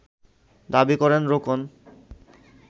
দাবি করেন রোকন